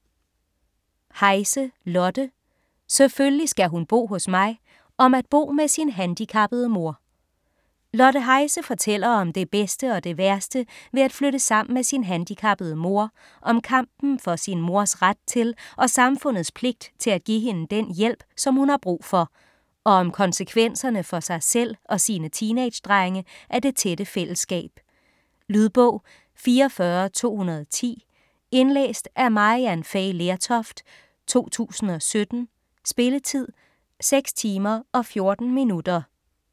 Heise, Lotte: Selvfølgelig skal hun bo hos mig: om at bo med sin handicappede mor Lotte Heise fortæller om det bedste og det værste ved at flytte sammen med sin handicappede mor, om kampen for sin mors ret til og samfundets pligt til at give hende den hjælp, som hun har brug for, og om konsekvenserne for sig selv og sine teenage drenge af det tætte fællesskab. Lydbog 44210 Indlæst af Maryann Fay Lertoft, 2017. Spilletid: 6 timer, 14 minutter.